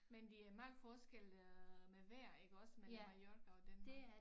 Men det er meget forskel øh med vejr iggås mellem Mallorca og Danmark